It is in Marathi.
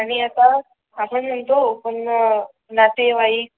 आणि आता आपण म्हणतो पण नातेवाईक